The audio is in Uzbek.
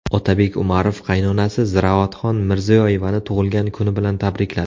Otabek Umarov qaynonasi Ziroatxon Mirziyoyevani tug‘ilgan kuni bilan tabrikladi.